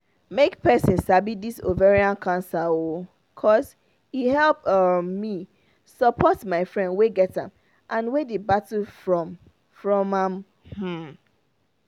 make persin sabi this ovarian cancer oooo cos e help um me support my friend wey get am and wey dey battle from from am um